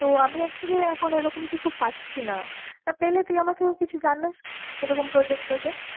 তো আমি actually এখন ওরকম কিছু পাচ্ছিনা, পেলে তুই আমাকেও কিছু জানাশ এরকম project toject ।